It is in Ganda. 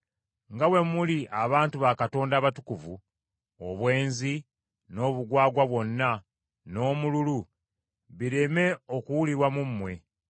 Nga bwe muli abantu ba Katonda abatukuvu, obwenzi, n’obugwagwa bwonna, n’omululu bireme okuwulirwa mu mmwe.